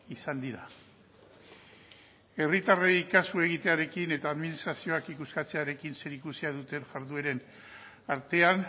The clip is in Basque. izan dira herritarrei kasu egitearekin eta administrazioak ikuskatzearekin zerikusia duten jardueren artean